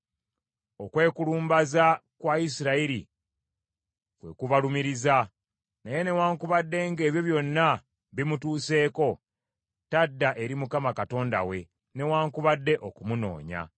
Okwekulumbaza kwa Isirayiri kwe kubalumiriza, naye newaakubadde ng’ebyo byonna bimutuuseeko tadda eri Mukama Katonda we newaakubadde okumunoonya.